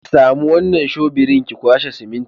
Ki sami wannan shobirin ki kwashe siminti.